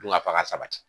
Dunkafa ka sabati